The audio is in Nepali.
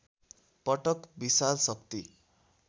पटक विशाल शक्ति